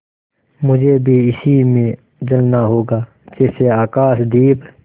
मुझे भी इसी में जलना होगा जैसे आकाशदीप